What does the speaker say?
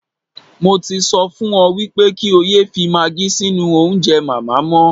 Mo ti sọ fún ọ wípé kí ó yẹ fi maagí sínú oúnjẹ màmá mọ́.